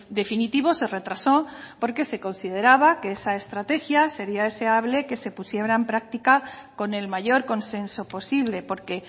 definitivo se retrasó porque se consideraba que esa estrategia sería deseable que se pusiera en práctica con el mayor consenso posible porque